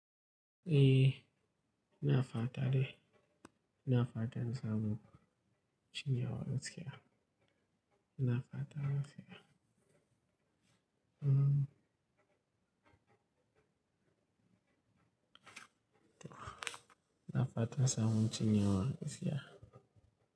Eh, ina fata deh na faɗa saboda cin yawa gaskiya. Na faɗa gaskiya. Mm. Tuh. Na faɗa saboda cin yawa gaskiya.